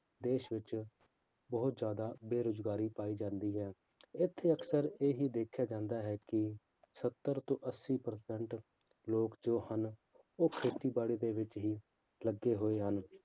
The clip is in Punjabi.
ਦੇਸ ਵਿੱਚ ਬਹੁਤ ਜ਼ਿਆਦਾ ਬੇਰੁਜ਼ਗਾਰੀ ਪਾਈ ਜਾਂਦੀ ਹੈ ਇੱਥੇ ਅਕਸਰ ਇਹ ਹੀ ਦੇਖਿਆ ਜਾਂਦਾ ਹੈ ਕਿ ਸੱਤਰ ਤੋਂ ਅੱਸੀ ਪਰਸੈਂਟ ਲੋਕ ਜੋ ਹਨ ਉਹ ਖੇਤੀਬਾੜੀ ਦੇ ਵਿੱਚ ਹੀ ਲੱਗੇ ਹੋਏ ਹਨ